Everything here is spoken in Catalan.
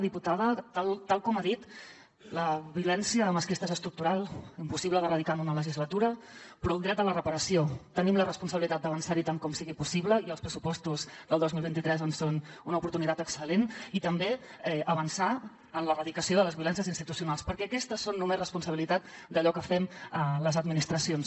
diputada tal com ha dit la violència masclista és estructural impossible d’erradicar en una legislatura però en el dret a la reparació tenim la responsabilitat d’avançar hi tant com sigui possible i els pressupostos del dos mil vint tres en són una oportunitat excel·lent i també avançar en l’erradicació de les violències institucionals perquè aquestes són només responsabilitat d’allò que fem les administracions